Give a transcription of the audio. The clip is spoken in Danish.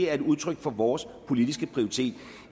er et udtryk for vores politiske prioritering